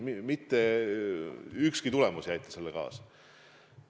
Mitte ükski süüditus siin ei aita.